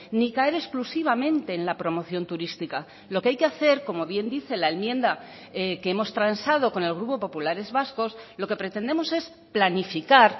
ni caer exclusivamente en la promoción turística lo que hay que hacer como bien dice la enmienda que hemos transado con el grupo populares vascos lo que pretendemos es planificar